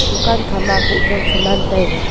dukan kha ma buh jao saman taiga.